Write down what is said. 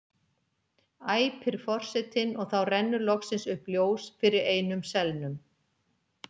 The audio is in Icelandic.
æpir forsetinn og þá rennur loksins upp ljós fyrir einum selnum.